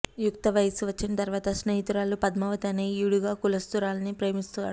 యుక్త వయస్సు వచ్చిన తర్వాత స్నేహితురాలు పద్మావతి అనే ఈడుగ కులస్తురాల్ని ప్రేమిస్తాడు